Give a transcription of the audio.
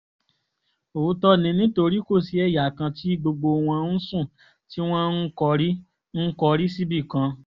òótọ́ ni nítorí kò sí ẹ̀yà kan tí gbogbo wọn ń sùn tí wọ́n ń kọrí ń kọrí síbì kan